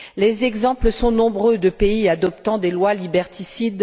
Les exemples sont nombreux de pays adoptant des lois liberticides.